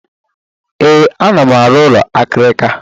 Ee, ana m arụ ụlọ akịrịka.